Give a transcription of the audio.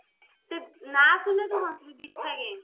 ସେ ନା ଶୁଣିଲେ ତୁ ହସିବୁ ବିଛା game